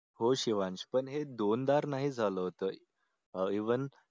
हो शिवांश पण ते दोनदा नाही झालं होतं अह even